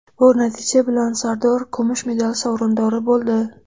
Bu natija bilan Sardor kumush medali sovrindori bo‘ldi.